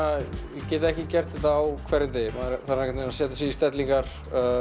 ég get ekki gert þetta á hverjum degi maður þarf að setja sig í stellingar af